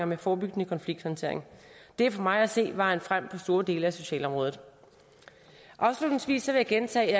med forebyggende konflikthåndtering det er for mig at se vejen frem på store dele af socialområdet afslutningsvis vil jeg gentage at